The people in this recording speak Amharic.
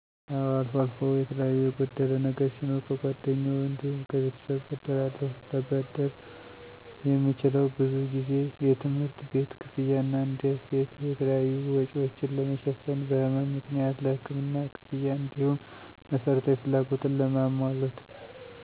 አወ አልፎ አልፎ የተለያዩ የጎደለ ነገር ሲኖር ከጓደኞ እንዲሁም ከቤተሰብ እበደራለሁ። ለበደር የምችለው ብዙ ጊዜ የትምህርት ቤት ክፍያ እና እንደ ሴት የተለያዩ፣ ወጭወችን ለመ ሸፍን፣ በህመም ምክንያት ለህክምና ክፍያ፣ እንዲሁም መሰረታዊ ፍላጎትን ለማሞላት፣